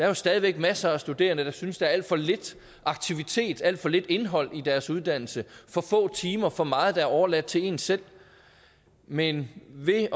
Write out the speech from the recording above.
jo stadig væk masser af studerende der synes at der er alt for lidt aktivitet og alt for lidt indhold i deres uddannelse for få timer og for meget der er overladt til en selv men ved